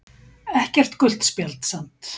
Ekkert gult spjald samt